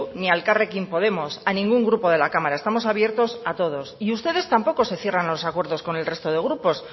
ni a elkarrekin podemos a ningún grupo de la cámara estamos abiertos a todos y ustedes tampoco se cierran a los acuerdos con el resto de grupos